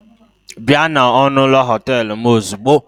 Bịa na ọnụ ụlọ họtel m ozugbo!